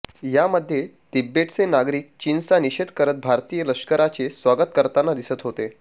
यामध्ये तिबेटचे नागरिक चीनचा निषेध करत भारतीय लष्कराचे स्वागत करताना दिसत होते